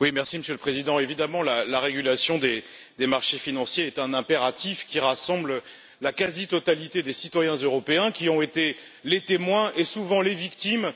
Monsieur le Président, la réglementation des marchés financiers est évidemment un impératif qui rassemble la quasi totalité des citoyens européens, qui ont été les témoins et, souvent, les victimes